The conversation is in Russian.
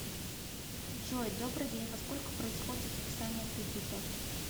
джой добрый день во сколько происходит списание кредита